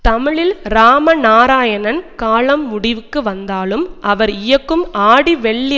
தமிழில் ராம நாராயணன் காலம் முடிவுக்கு வந்தாலும் அவர் இயக்கும் ஆடி வெள்ளி